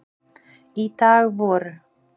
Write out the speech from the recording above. Í dag voru